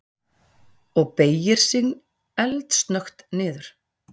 Og beygir sig eldsnöggt niður.